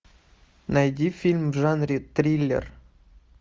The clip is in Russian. найди фильм в жанре триллер